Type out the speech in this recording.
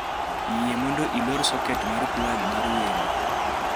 yie mondo ilor soket mar plag mar wemo